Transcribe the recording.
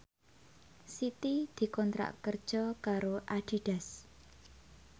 Siti dikontrak kerja karo Adidas